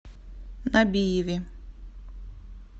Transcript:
набиеве